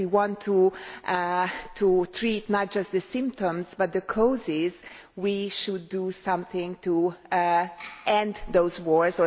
If we want to treat not just the symptoms but the causes, we should do something to end those wars.